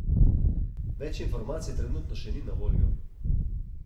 Več informacij trenutno še ni na voljo.